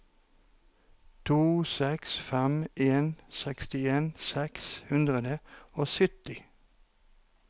to seks fem en sekstien seks hundre og sytti